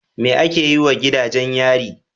Me ake yi wa gidajen yari?